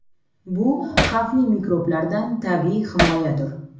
Bu xavfli mikroblardan tabiiy himoyadir.